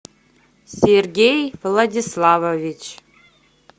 сергей владиславович